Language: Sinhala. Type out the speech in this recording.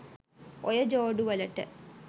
ඔය ජෝඩුවලට